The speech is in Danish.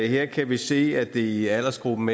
her kan vi se at det i aldersgruppen